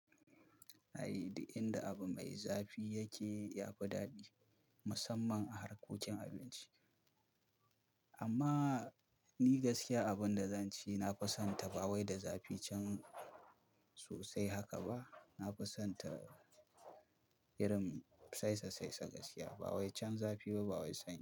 I, inda abu mai zafi yake yafi daɗi musamman a harkokin abinci. Amma ni gaskiya abunda zan ci nafi son ta ba wai da zafi can sosai haka ba. Nafison ta irin saisasaisa gaskiya. Ba wai can zafi ba, ba wai sanyi.